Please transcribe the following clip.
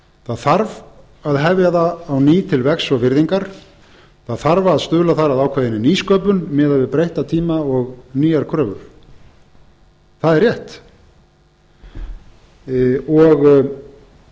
það þarf að hefja það á ný til vegs og virðingar það þarf að stuðla þar að ákveðinni nýsköpun miðað við breytta tíma og nýjar kröfur það er rétt